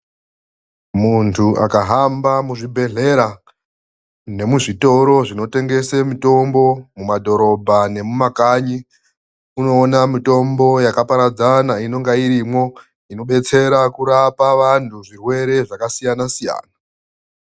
Muntu akahamba muzvibhedhlera nemuzvitoro zvinotengese mutombo mumadhorobha nemumakanyi, unoona mitombo yakaparadzana inonga irimwo inodetsera kurapa vantu zvirwere zvakasiyana-siyana.